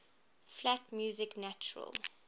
flat music natural